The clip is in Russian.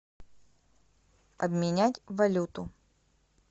обменять валюту